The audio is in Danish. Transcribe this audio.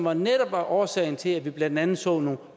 og netop var årsagen til at vi blandt andet så nogle